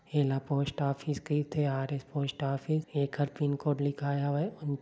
हेला post office कईथे आरे पोस्ट ऑफिस एकर पिनकोड लिखाय हवे उन---